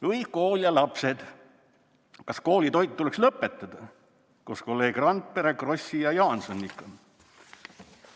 Või kool ja lapsed: "Kas koolitoit tuleks lõpetada?", koos kolleeg Randpere, Krossi ja Jaansoniga.